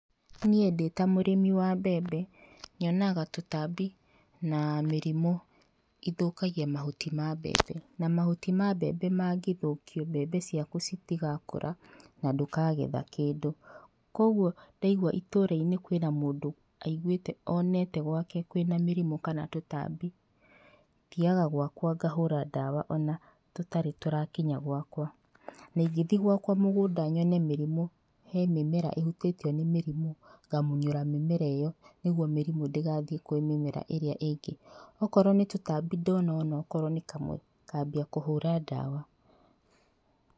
Niĩ ndĩ ta mũrĩmi wa mbembe nyonaga tũtambi na mĩrimu ithũkagia mahuti ma mbembe, na mahuti ma mbembe mangĩthũkio mbembe ciaku citigakũra na ndũkagetha kĩndũ koguo ndaigwa itũrainĩ kwĩna mũndũ wonete gwake kwĩna mĩrĩmu kana tũtambi thiaga gwakwa ngahũra ndawa ona tũtarĩ tũrakinya gwakwa na ingĩthie gwakwa mũgũnda yone mũrimũ nyone harĩ mĩmera ĩhũtĩtio nĩ mĩrĩmũ ngamunyũra mĩmera ĩyo nĩgũo mĩrimũ ndĩgathie kũrĩ mĩmera ĩrĩa ĩngĩ akorwo nĩ tũtambi ndona onakorwo nĩ kamwe ngambia kũhũra ndawa.